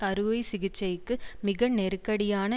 அறுவை சிகிச்சைக்கு மிக நெருக்கடியான